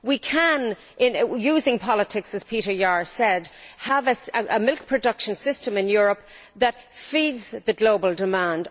We can using politics as Peter Jahr said have a milk production system in Europe that feeds the global demand.